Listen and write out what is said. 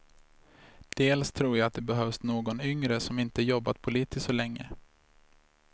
Dels tror jag att det behövs någon yngre som inte jobbat politiskt så länge.